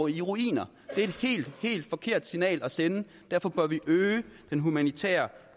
i ruiner det er et helt helt forkert signal at sende derfor bør vi øge den humanitære